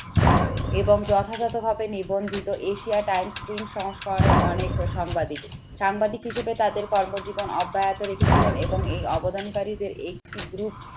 এবং যথাযথভাবে নিবন্ধিত Asia times screen সংস্করণের অনেক সংবাদিক। সাংবাদিক হিসেবে তাদের কর্মজীবন অব্যাহত রেখেছিলেন এবং এই অবদান কারীদের একটি group